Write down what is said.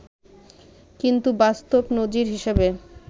কিন্তু বাস্তব নজির হিসেবে